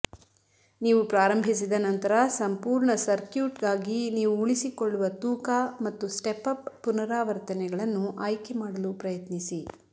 ನೀವು ಪ್ರಾರಂಭಿಸಿದ ನಂತರ ಸಂಪೂರ್ಣ ಸರ್ಕ್ಯೂಟ್ಗಾಗಿ ನೀವು ಉಳಿಸಿಕೊಳ್ಳುವ ತೂಕ ಮತ್ತು ಸ್ಟೆಪ್ಅಪ್ ಪುನರಾವರ್ತನೆಗಳನ್ನು ಆಯ್ಕೆ ಮಾಡಲು ಪ್ರಯತ್ನಿಸಿ